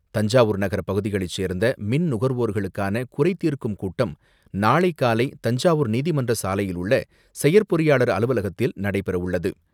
தஞ்சாவூர் நகர பகுதிகளை சேர்ந்த மின் நுகர்வோர்களுக்கான குறை தீர்க்கும் கூட்டம் நாளை காலை தஞ்சாவூர் நீதிமன்ற சாலையில் உள்ள செயற் பொறியாளர் அலுவலகத்தில் நடைபெறவுள்ளது.